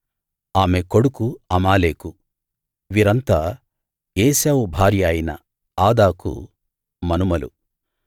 ఆమె కొడుకు అమాలేకు వీరంతా ఏశావు భార్య అయిన ఆదాకు మనుమలు